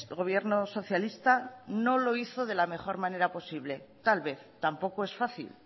gobierno socialista no lo hizo de la mejora manera posible tal vez tampoco es fácil